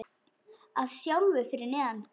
Að hálfu fyrir neðan gras.